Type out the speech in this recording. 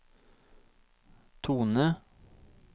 tone